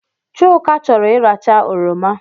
Chuka chọrọ iracha oroma